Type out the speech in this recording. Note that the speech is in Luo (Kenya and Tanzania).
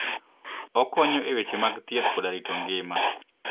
Okonyo e weche mag thieth koda rito ngima.